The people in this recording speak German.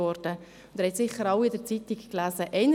Sie haben sicher alle etwas darüber in der Zeitung gelesen.